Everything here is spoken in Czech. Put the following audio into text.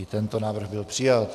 I tento návrh byl přijat.